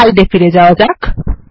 slide এ ফিরে যাওয়া যাক